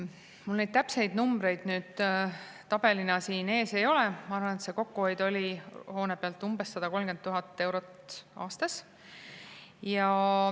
Mul neid täpseid numbreid tabelina siin ees ei ole, aga ma arvan, et see kokkuhoid on hoone pealt umbes 130 000 eurot aastas.